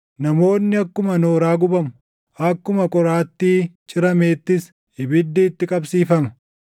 Namoonni akkuma nooraa gubamu; akkuma qoraattii cirameettis ibiddi itti qabsiifama.”